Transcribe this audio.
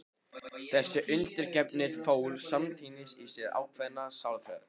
Þessi undirgefni fól samtímis í sér ákveðna sjálfsþekkingu.